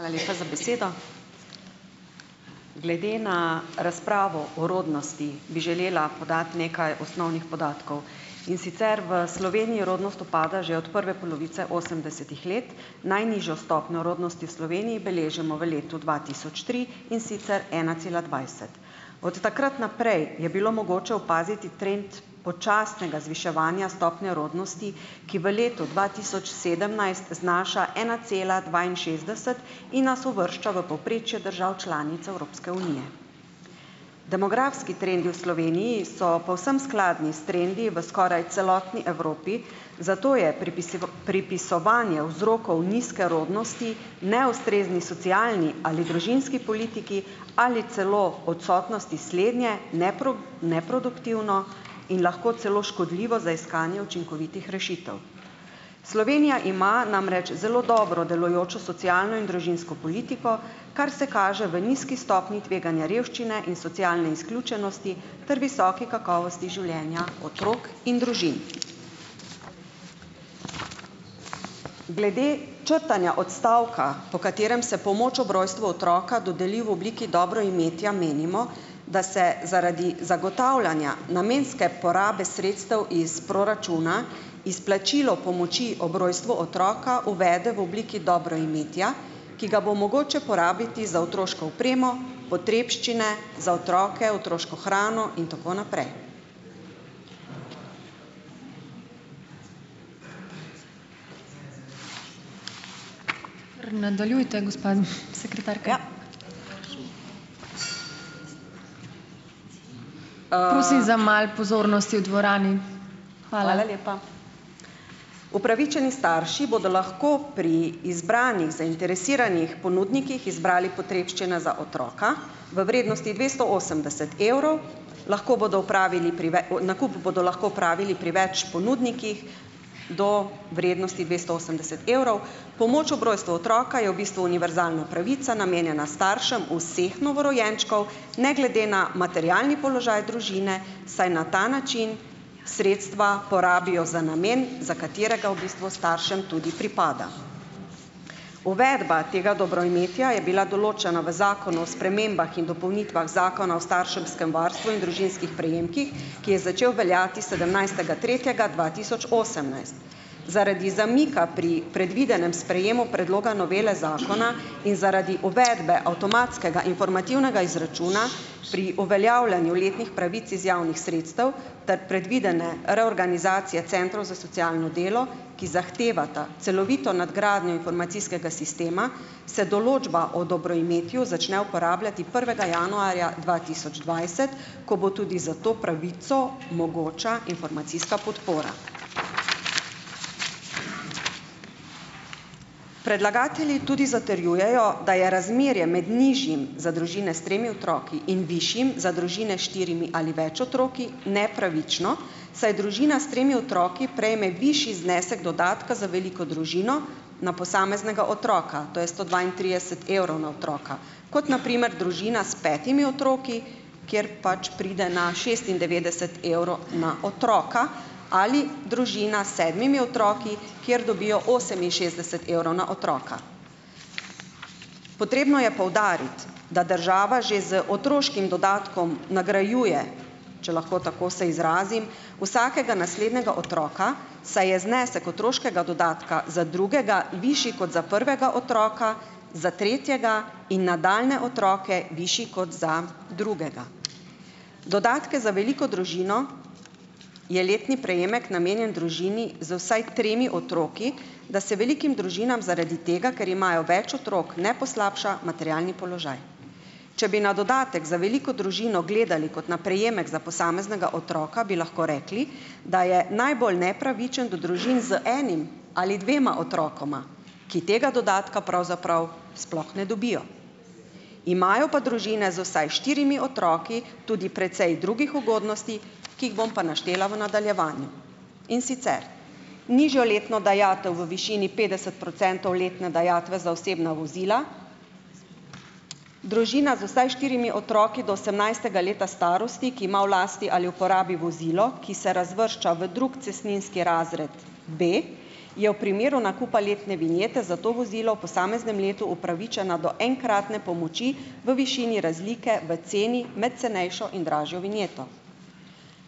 Hvala lepa za besedo. Glede na razpravo o rodnosti bi želela podati nekaj osnovnih podatkov, in sicer: V Sloveniji rodnost upada že od prve polovice osemdesetih let, najnižjo stopnjo rodnosti v Sloveniji beležimo v letu dva tisoč tri, in sicer ena cela dvajset. Od takrat naprej je bilo mogoče opaziti trend počasnega zviševanja stopnje rodnosti, ki v letu dva tisoč sedemnajst znaša ena cela dvainšestdeset in nas uvršča v povprečje držav članic Evropske unije. Demografski trendi v Sloveniji so povsem skladni s trendi v skoraj celotni Evropi, zato je pripisovanje vzrokov nizke rodnosti neustrezni socialni ali družinski politiki, ali celo odsotnosti slednje, neproduktivno in lahko celo škodljivo za iskanje učinkovitih rešitev. Slovenija ima namreč zelo dobro delujočo socialno in družinsko politiko, kar se kaže v nizki stopnji tveganja revščine in socialne izključenosti ter visoke kakovosti življenja otrok in družin. Glede črtanja odstavka, po katerem se pomoč ob rojstvu otroka dodeli v obliki dobroimetja, menimo, da se zaradi zagotavljanja namenske porabe sredstev iz proračuna izplačilo pomoči ob rojstvu otroka uvede v obliki dobroimetja, ki ga bo mogoče porabiti za otroško opremo, potrebščine za otroke, otroško hrano in tako naprej. Ja. lepa. Upravičeni straši bodo lahko pri izbranih zainteresiranih ponudnikih izbrali potrebščine za otroka v vrednosti dvesto osemdeset evrov, lahko bodo opravili pri nakup bodo lahko opravili pri več ponudnikih do vrednosti dvesto osemdeset evrov. Pomoč ob rojstvu otroka je v bistvu univerzalna pravica, namenjena staršem vseh novorojenčkov, ne glede na materialni položaj družine, saj na ta način sredstva porabijo za namen, za katerega v bistvu staršem tudi pripada. Uvedba tega dobroimetja je bila določena v Zakonu o spremembah in dopolnitvah Zakona o starševskem varstvu in družinskih prejemkih, ki je začel veljati sedemnajstega tretjega dva tisoč osemnajst. Zaradi zamika pri predvidenem sprejemu predloga novele zakona in zaradi uvedbe avtomatskega informativnega izračuna pri uveljavljanju letnih pravic iz javnih sredstev ter predvidene reorganizacije centrov za socialno delo, ki zahtevata celovito nadgradnjo informacijskega sistema, se določba o dobroimetju začne uporabljati prvega januarja dva tisoč dvajset, ko bo tudi za to pravico mogoča informacijska podpora. Predlagatelji tudi zatrjujejo, da je razmerje med nižjim, za družine s tremi otroki, in višjim, za družine s štirimi ali več otroki, nepravično, saj družina s tremi otroki prejme višji znesek dodatka za veliko družino na posameznega otroka, - to je sto dvaintrideset evrov na otroka - kot na primer družina s petimi otroki, kjer pač pride na šestindevetdeset evrov na otroka, ali družina s sedmimi otroki, kjer dobijo oseminšestdeset evrov na otroka. Potrebno je poudariti, da država že z otroškim dodatkom nagrajuje, če lahko tako se izrazim, vsakega naslednjega otroka, saj je znesek otroškega dodatka za drugega višji kot za prvega otroka, za tretjega, in nadaljnje otroke višji kot za drugega. Dodatek za veliko družino, je letni prejemek, namenjen družini z vsaj tremi otroki, da se velikim družinam zaradi tega, ker imajo več otrok, ne poslabša materialni položaj. Če bi na dodatek za veliko družino gledali kot na prejemek za posameznega otroka, bi lahko rekli, da je najbolj nepravičen do družin z enim ali dvema otrokoma, ki tega dodatka pravzaprav sploh ne dobijo. Imajo pa družine z vsaj štirimi otroki tudi precej drugih ugodnosti, ki jih bom pa naštela v nadaljevanju, in sicer nižjo letno dajatev v višini petdeset procentov letne dajatve za osebna vozila, družina z vsaj štirimi otroki do osemnajstega leta starosti, ki ima v lasti ali uporabi vozilo, ki se razvršča v drugi cestninski razred B, je v primeru nakupa letne vinjete za to vozilo v posameznem letu upravičena do enkratne pomoči v višini razlike v ceni med cenejšo in dražjo vinjeto.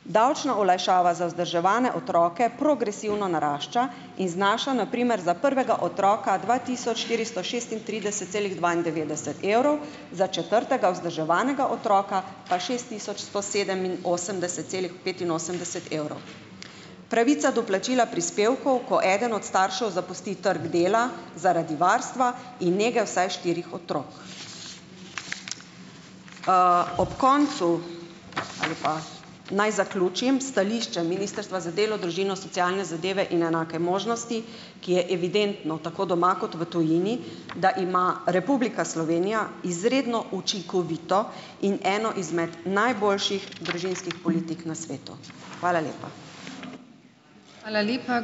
Davčna olajšava za vzdrževane otroke progresivno narašča in znaša na primer za prvega otroka dva tisoč štiristo šestintrideset celih dvaindevetdeset evrov, za četrtega vzdrževanega otroka pa šest tisoč sto sedeminosemdeset celih petinosemdeset evrov. Pravica do plačila prispevkov, ko eden od staršev zapusti trg dela zaradi varstva in nege vsaj štirih otrok. Ob koncu ali pa naj zaključim s stališčem Ministrstva za delo, družino, socialne zadeve in enake možnosti, ki je evidentno tako doma kot v tujini, da ima Republika Slovenija izredno učinkovito in eno izmed najboljših družinskih politik na svetu. Hvala lepa.